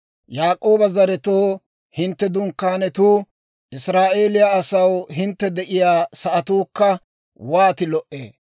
Yaak'ooba zaretoo, hintte dunkkaanetuu, Israa'eeliyaa asaw, hintte de'iyaa sa'atuukka, wooti lo"ee!